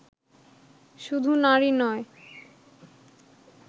শুধু নারী নয়